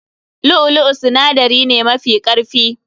Lu'u lu'u sinadari ne mafi karfi.